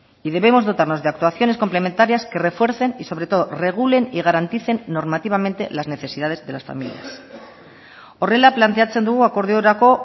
y debemos dotarnos de actuaciones complementarias que refuercen y sobre todo regulen y garanticen normativamente las necesidades de las familias horrela planteatzen dugu akordiorako